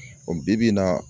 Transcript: O bi-bi in na